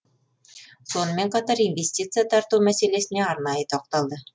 сонымен қатар инвестиция тарту мәселесіне арнайы тоқталды